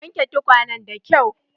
Ka wanke tukwanen da kyau!